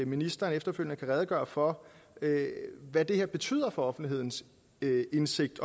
ministeren efterfølgende kan redegøre for hvad det her betyder for offentlighedens indsigt